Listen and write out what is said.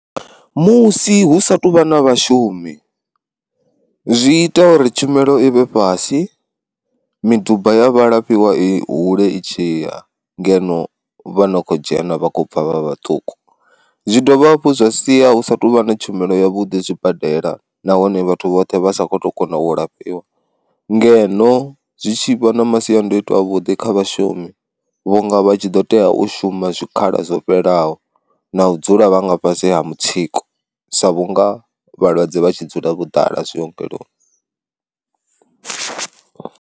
Musi hu sa tuvha na vhashumi, zwi ita uri tshumelo i vhe fhasi miduba ya vha lafhiwa i hule i tshiya ngeno vhana kho dzhena vha khou bva vha vhaṱuku, zwi dovha hafhu zwa sia hu sa tuvha na tshumelo yavhuḓi zwibadela nahone vhathu vhoṱhe vhasa kho to kona u lafhiwa, ngeno zwi tshi vha masiandaitwa avhuḓi kha vhashumi vhunga vha tshi ḓo tea u shuma zwikhala zwo fhelelaho na u dzula vhanga fhasi ha mutsiko sa vhunga vhalwadze vha tshi dzula vho ḓala zwi ongeloni.